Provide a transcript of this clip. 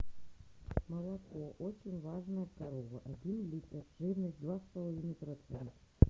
молоко очень важная корова один литр жирность два с половиной процента